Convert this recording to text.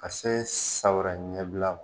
Ka se san wɛrɛ ɲɛbila man.